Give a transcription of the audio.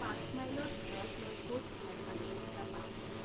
পাঁচ মাইলৰ ভিতৰত মই ক'ত ভাল আলু পিটিকা পাম৷